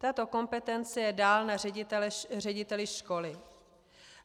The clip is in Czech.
Tato kompetence je dál na řediteli školy.